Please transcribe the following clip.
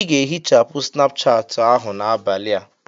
Ị ga-ehichapụ Snapuchati ahụ n'abalị a!